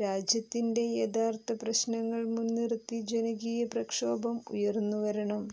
രാജ്യത്തിന്റെ യഥാർത്ഥ പ്രശ്നങ്ങൾ മുൻനിർത്തി ജനകീയ പ്രക്ഷോഭം ഉയർന്നുവരണം